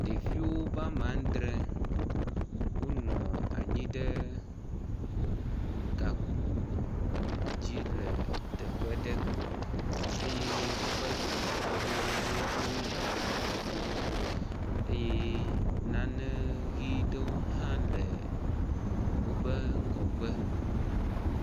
Ɖevi wobe ame adre wonɔ anyi ɖe gakpo dzi le teƒe aɖe eye wobe dometɔ ɖewo ɖo enukomo eye nane ʋɛ̃ ɖewo hã le wobe ŋgɔgbe.